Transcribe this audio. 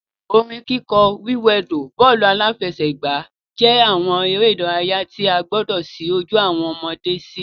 Orin kíkọ, wíwẹdò, bọ́ọ̀lù-aláfẹ́sẹ̀gbà jẹ́ àwọn eré ìdárayá tí a gbọdọ̀ ṣí ojú awọn ọmọde sí